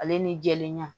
Ale ni jɛlenya